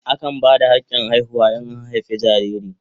Akan ba da hakin haihuwa in an haife jariri.